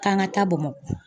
K'an ka taa Bamakɔ.